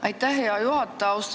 Aitäh, hea juhataja!